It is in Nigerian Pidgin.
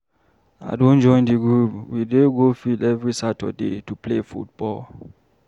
I don join di group we dey go field every Saturday to play ball.